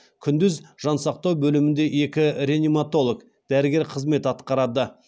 күндіз жансақтау бөлімінде екі реаниматолог дәрігер қызмет атқарады